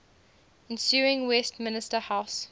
ensuing westminster house